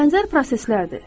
Bənzər proseslərdir.